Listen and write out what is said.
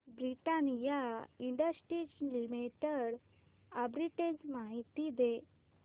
Britannia industries limited arbitrage माहिती दे